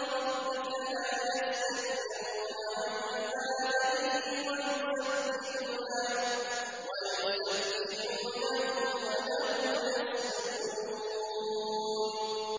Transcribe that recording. رَبِّكَ لَا يَسْتَكْبِرُونَ عَنْ عِبَادَتِهِ وَيُسَبِّحُونَهُ وَلَهُ يَسْجُدُونَ ۩